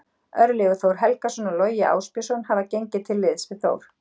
Örlygur Þór Helgason og Logi Ásbjörnsson hafa gengið til liðs við Þór.